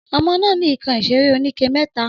Ọmọ nà ni ìkań ìsẹrẹ òníké mẹta